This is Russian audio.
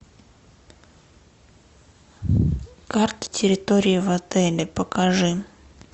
карта территории в отеле покажи